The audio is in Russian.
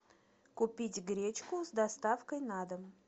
купить гречку с доставкой на дом